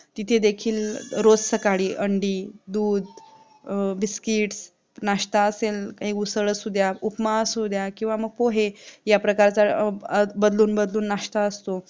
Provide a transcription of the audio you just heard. सकाळी अंडी दूध biscuits नाष्टा असेल काही उसळ असुद्या काही उपमा असुद्या किंवा म पोहे याप्रकारचा बदलून बदलून नाष्टा असतो